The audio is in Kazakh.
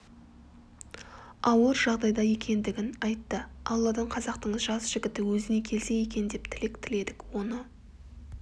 ауыр жағдайда екендігін айтты алладан қазақтың жас жігіті өзіне келсе екен деп тілек тіледік оны